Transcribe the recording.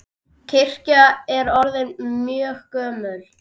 Kirkjan er orðin mjög gömul.